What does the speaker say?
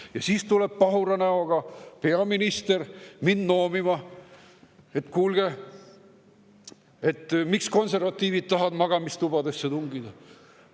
Ja siis tuleb pahura näoga peaminister mind noomima: "Kuulge, miks konservatiivid tahavad magamistubadesse tungida?